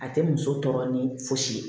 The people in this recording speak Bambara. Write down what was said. A tɛ muso tɔɔrɔ ni fosi ye